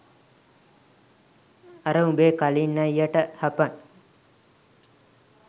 අර උඹේ කලින් අයියට හපන්